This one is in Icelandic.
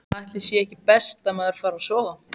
Ætli sé ekki best að maður fari að sofa.